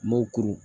Mɔkuru